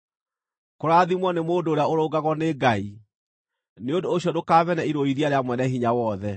“Kũrathimwo nĩ mũndũ ũrĩa ũrũngagwo nĩ Ngai; nĩ ũndũ ũcio ndũkamene irũithia rĩa Mwene-Hinya-Wothe.